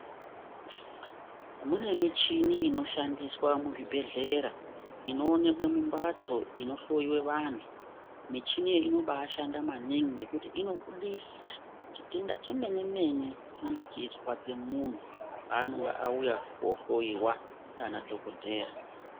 Mune michini inoshandiswe muzvibhedhlera inoonekwa mumbatso inohloyiwa vantu. Michini iyi inobashanda maningi ngekuti inobudisa chitenda chemene mene chinenge chichinzwa nemuntu paanenge auya kuhohloyiwa naanadhokodheya.